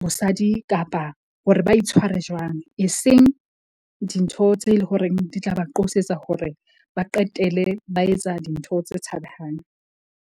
bosadi kapa hore ba itshware jwang. E seng dintho tse le horeng di tla ba qosetsa hore ba qetele ba etsa dintho tse tshabehang.